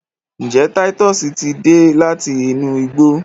njé Titus tí dé láti inú igbó?